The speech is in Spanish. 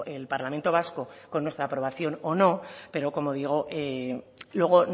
el parlamento vasco con nuestra aprobación o no pero como digo luego